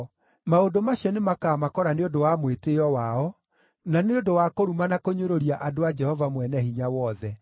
Maũndũ macio nĩmakamakora nĩ ũndũ wa mwĩtĩĩo wao, na nĩ ũndũ wa kũruma na kũnyũrũria andũ a Jehova Mwene-Hinya-Wothe.